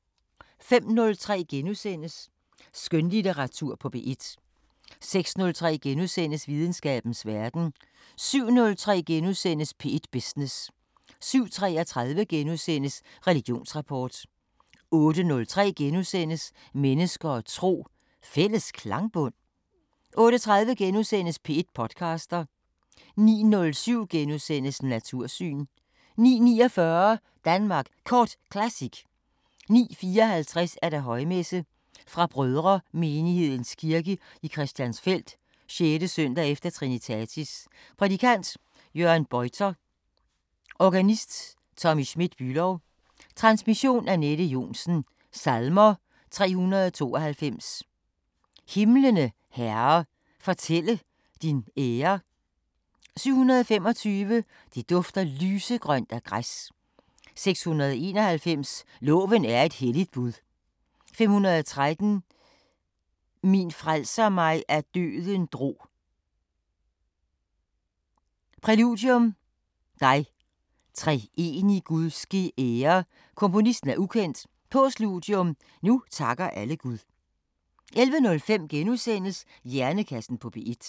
05:03: Skønlitteratur på P1 * 06:03: Videnskabens Verden * 07:03: P1 Business * 07:33: Religionsrapport * 08:03: Mennesker og tro: Fælles klangbund? * 08:30: P1 podcaster * 09:07: Natursyn * 09:49: Danmark Kort Classic 09:54: Højmesse - Brødremenighedens kirke i Christiansfeld. 6. s. e. trinitatis. Prædikant: Jørgen Bøytler. Organist: Tommy Schmidt Bülow. Transmission: Anette Johnsen. Salmer: 392: Himlene, Herre, fortælle din ære 725: Det dufter lysegrønt af græs 691: Loven er et helligt bud 513: Min frelser mig af døden drog Præludium: Dig, treenig Gud ske ære Komponist. Ukendt. Postludium: Nu takker alle Gud 11:05: Hjernekassen på P1 *